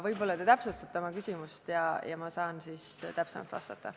Võib-olla te täpsustate oma küsimust, siis ma saan täpsemalt vastata.